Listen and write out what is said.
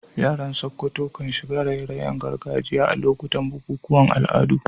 Yaran Sokoto kan shiga raye-rayen gargajiya a lokutan bukukuwan al'adu.